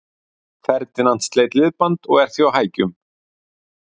Ferdinand sleit liðband og er því á hækjum.